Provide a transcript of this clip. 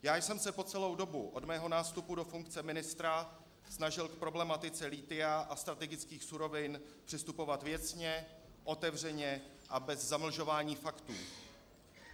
Já jsem se po celou dobu od svého nástupu do funkce ministra snažil k problematice lithia a strategických surovin přistupovat věcně, otevřeně a bez zamlžování faktů.